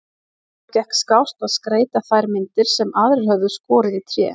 Honum gekk skást að skreyta þær myndir sem aðrir höfðu skorið í tré.